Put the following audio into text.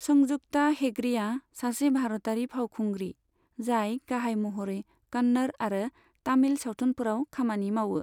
संजुक्ता हेगड़ेया सासे भारतारि फावखुंग्रि, जाय गाहाय महरै कन्नड़ आरो तामिल सावथुनफोराव खामानि मावो।